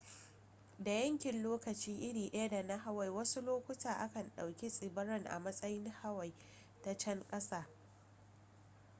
da yankin lokaci iri daya da na hawaii wasu lokuta a kan ɗauki tsibiran a matsayin hawaii ta can ƙasa